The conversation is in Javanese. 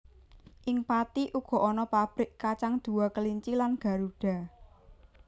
Ing Pathi uga ana pabrik kacang Dua Kelinci lan Garuda